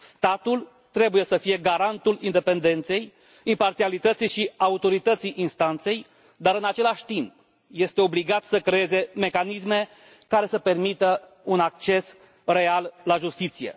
Statul trebuie să fie garantul independenței, imparțialității și autorității instanței, dar, în același timp, este obligat să creeze mecanisme care să permită un acces real la justiție.